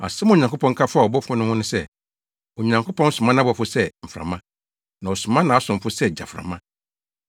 Asɛm a Onyankopɔn ka faa abɔfo no ho ne sɛ, “Onyankopɔn soma nʼabɔfo sɛ mframa, na ɔsoma nʼasomfo sɛ gyaframa.”